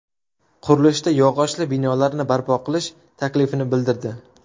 Qurilishda yog‘ochli binolarni barpo qilish taklifini bildirdi.